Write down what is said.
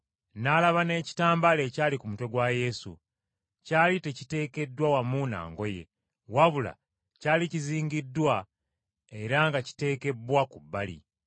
N’alaba n’ekitambaala ekyali ku mutwe gwa Yesu. Kyali tekiteekeddwa wamu na ngoye, wabula kyali kizingiddwa era nga kiteekebbwa ku bbali.